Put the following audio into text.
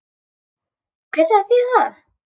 Hver sagði þér það?